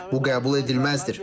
Bu qəbul edilməzdir.